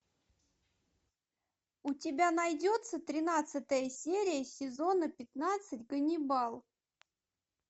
у тебя найдется тринадцатая серия сезона пятнадцать ганнибал